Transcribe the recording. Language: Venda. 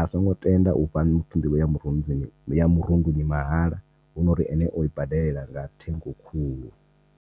asongo tenda u vha nḓivho murunzini ya murunduni mahala huna uri ene o i badela nga thengo khulu.